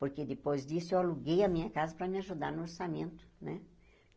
Porque depois disso eu aluguei a minha casa para me ajudar no orçamento né.